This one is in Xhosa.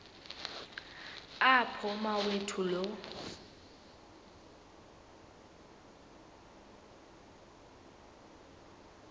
apho umawethu lo